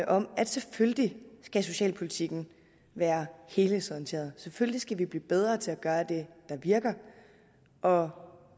om at selvfølgelig skal socialpolitikken være helhedsorienteret selvfølgelig skal vi blive bedre til at gøre det der virker og